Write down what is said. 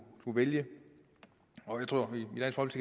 kunne vælge og jeg tror